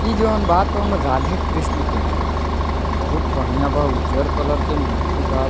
इ जोन बा तोन राधे कृष्ण के मंदिर बा बहुत बढ़िया बा उज्जर कलर के मूर्ति बा।